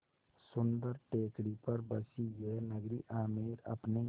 सुन्दर टेकड़ी पर बसी यह नगरी आमेर अपने